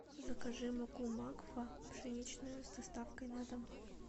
закажи муку макфа пшеничная с доставкой на дом